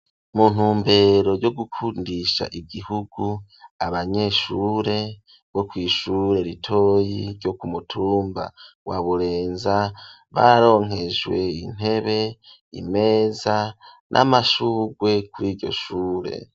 Mu ntumbero yo gukundisha igihugu, abanyeshure bo kwishure ritoyi ryo ku mutumba wa Burenza, baronkejwe intebe, imeza, n'amashurwe kuriryo shure.